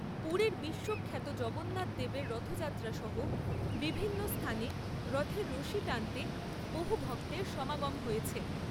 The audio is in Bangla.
পুরীর বিশ্বখ্যাত জগন্নাথ দেবের রথযাত্রা সহ বিভিন্ন স্থানে রথের রশি টানতে বহু ভক্তের সমাগম হয়েছে।